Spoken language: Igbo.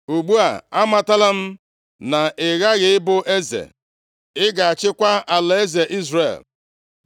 Ugbu a, amatala m na ị ghaghị ịbụ eze, ị ga-achịkwa alaeze Izrel.